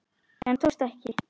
En það tókst ekki.